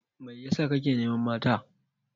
Mai ya sa ka ke neman mata?